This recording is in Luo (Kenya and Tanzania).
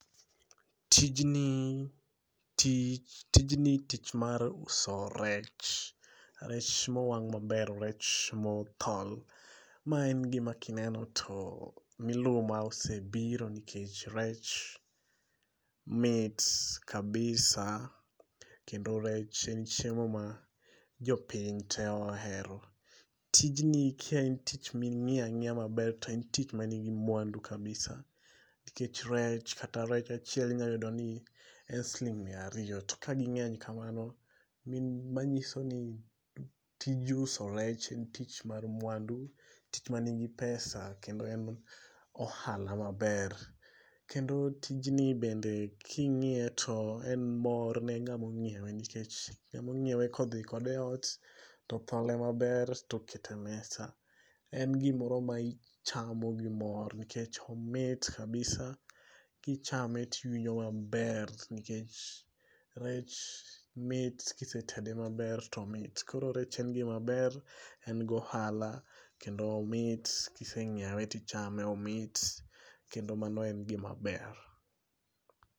Tijni ,tich mar uso rech, rech mowang' maber, rech mothol. Ma en gima kineno to miluma osebiro nikech rech mit kabisa kendo rech en chiemo ma jopiny te ohero. Tijni ke en tich ming'iyo ang'iyo maber to en tich manigi mwandu kabisa nikech rech kata rech achiel inyayudo ni en siling' miya ariyo, to ka ging'eny kamano manyiso ni tij uso rech en tich mar mwandu, tich manigi pesa kendo en ohala maber. Kendo tijni bende king'iye to en mor ne ng'amo ng'iewe nikech emong'iewe kodhi kode e ot, tothole maber toketo e mesa. En gimoro ma ichamo gimor nikech omit kabisa, kichame tiwinjo maber nikech rech mit kisetede maber to omit, koro rech en gimaber en gohala kendo omit kiseng'iewe tichame omit kendo mano en gimaber.